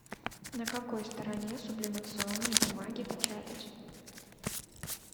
на какой стороне сублимационной бумаги печатать